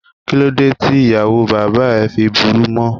Kíló dé tí ìyàwó bàbá ẹ fi burú mọ?